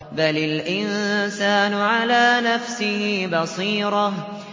بَلِ الْإِنسَانُ عَلَىٰ نَفْسِهِ بَصِيرَةٌ